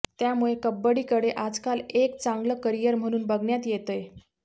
त्यामुळे कबड्डीकडे आजकाल एक चांगलं करीयर म्हणून बघण्यात येतंय